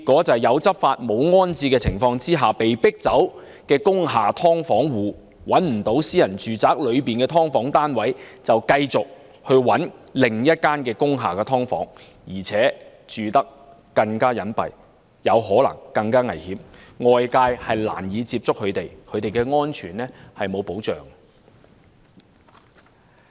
在"有執法，無安置"的情況下被迫遷的工廈"劏房戶"，最終由於找不到私人住宅的"劏房"單位，只能繼續尋覓另一間工廈"劏房"，而且住得更隱蔽，可能更危險，外界難以接觸他們，其安全更無保障。